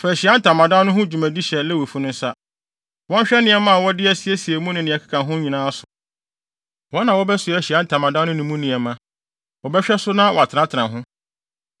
Fa Ahyiae Ntamadan no ho dwumadi hyɛ Lewifo no nsa. Wɔnhwɛ nneɛma a wɔde asiesie mu ne nea ɛkeka ho nyinaa so. Wɔn na wɔbɛsoa Ahyiae Ntamadan no ne mu nneɛma, wɔbɛhwɛ so na wɔatenatena ho.